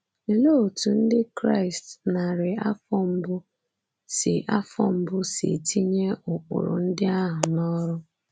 Olee otú Ndị Kraịst narị afọ mbụ si afọ mbụ si tinye ụkpụrụ ndị ahụ n’ọrụ?